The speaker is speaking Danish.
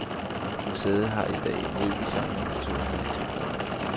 Museet har i dag en møbelsamling på to hundrede eksemplarer.